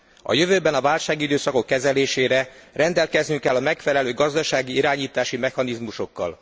A jövőben a válságidőszakok kezelésére rendelkeznünk kell a megfelelő gazdasági irányítási mechanizmusokkal.